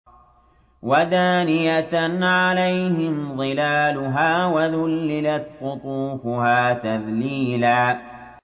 وَدَانِيَةً عَلَيْهِمْ ظِلَالُهَا وَذُلِّلَتْ قُطُوفُهَا تَذْلِيلًا